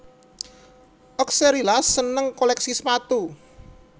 Oxcerila seneng kolèksi sepatu